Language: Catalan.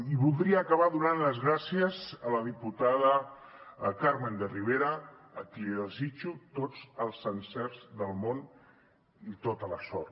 i voldria acabar donant les gràcies a la diputada carmen de rivera a qui desitjo tots els encerts del món i tota la sort